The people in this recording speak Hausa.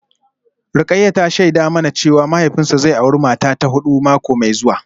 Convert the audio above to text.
Rukayyah ta shaida mana cewa mahaifinsa zai auri mata ta hudu mako mai zuwa